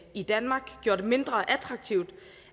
i danmark gjorde det mindre attraktivt